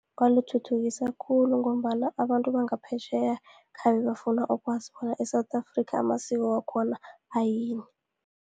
Ukwalithuthukisa khulu, ngombana abantu bangaphetjheya khabe bafuna ukwazi bona e-South Afrika, amasiko wakhona ayini.